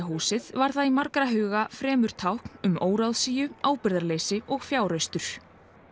húsið var það í margra huga fremur tákn um óráðsíu ábyrgðarleysi og fjáraustur